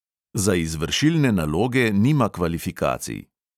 Za izvršilne naloge nima kvalifikacij.